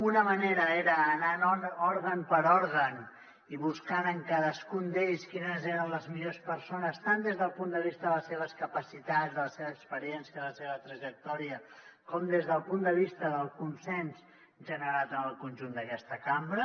una manera era anant òrgan per òrgan i buscant en cadascun d’ells quines eren les millors persones tant des del punt de vista de les seves capacitats de la seva experiència de la seva trajectòria com des del punt de vista del consens generat en el conjunt d’aquesta cambra